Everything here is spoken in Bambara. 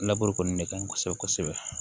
Laburu kɔni ne ka ɲi kosɛbɛ kosɛbɛ kosɛbɛ